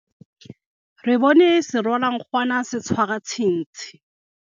re bone serwalankgwana se tshwara ntshintshi